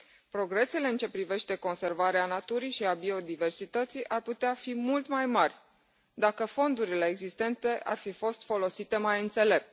Progresele în ce privește conservarea naturii și a biodiversității ar putea fi mult mai mari, dacă fondurile existente ar fi fost folosite mai înțelept.